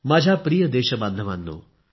माझ्या प्रिय देशबांधवांनो